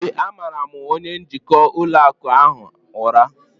ee, a mara' m onye njikwa ụlọ akụ ahụ ụra